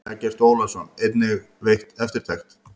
Eggert Ólafsson einnig veitt eftirtekt.